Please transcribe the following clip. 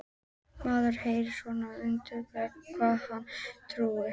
Maður heyrir svona undir væng hvað hann er að tauta.